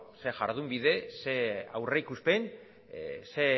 ze jardunbide ze aurrikuspen ze